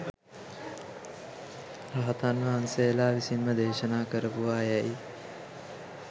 රහතන් වහන්සේලා විසින්ම දේශනා කරපුවා යැයි